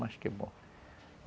Mas que bom.